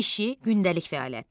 İşi, gündəlik fəaliyyəti.